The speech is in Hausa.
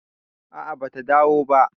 a a bata dawo ba